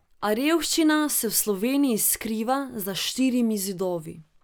A revščina se v Sloveniji skriva za štirimi zidovi.